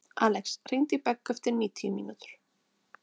Alex, hringdu í Beggu eftir níutíu mínútur.